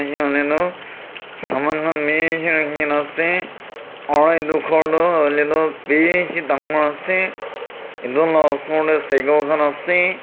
enia hoile tu saman khan bishi rakhikena ase aru itu ghor Tu huile toh bishi dangor ase itu la osor tey cycle khan ase.